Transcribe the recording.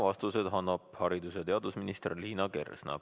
Vastuseid annab haridus- ja teadusminister Liina Kersna.